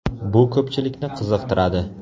Bu ko‘pchilikni qiziqtiradi.